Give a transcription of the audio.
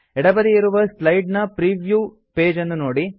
ಎಡಬದಿ ಇರುವ ಸ್ಲೈಡ್ ನ preview page ನ್ನು ನೋಡಿ